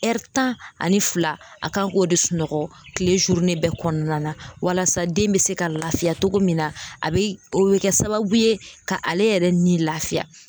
tan ani fila a kan k'o de sunɔgɔ kile bɛɛ kɔnɔna na walasa den bɛ se ka lafiya cogo min na a bɛ o bɛ kɛ sababu ye ka ale yɛrɛ ni lafiya.